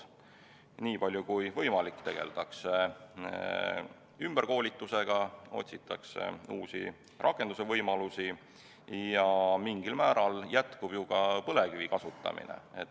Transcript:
Nii palju kui võimalik tegeldakse ümberkoolitusega, otsitakse uusi rakendusvõimalusi ja mingil määral jätkub ju ka põlevkivi kasutamine.